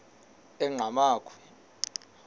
enqgamakhwe